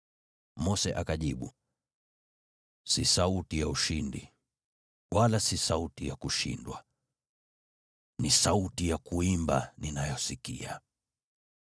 Mose akajibu: “Si sauti ya ushindi, wala si sauti ya kushindwa; ni sauti ya kuimba ninayosikia.”